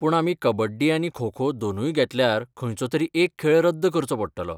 पूण आमी कबड्डी आनी खो खो दोनूय घेतल्यार खंयचो तरी एक खेळ रद्द करचो पडटलो.